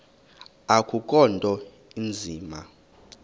akukho nto inzima